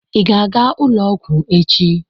Ị ga-aga ụlọ ọgwụ echi?